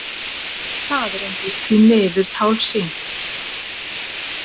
Það reyndist því miður tálsýn.